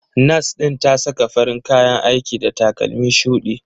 Nas ɗin ta saka farin kayan aiki da takalmi shudi.